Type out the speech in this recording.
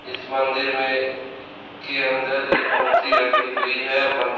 इस मंदिर में के अंदर एक मूर्ति रखी हुई है मंदिर--